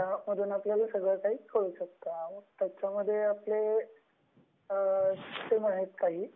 त्याच्यामधून आपल्याला सगळ कही कळु शकत.. त्याच्यामध्ये आहेत आपले काही